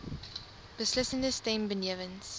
beslissende stem benewens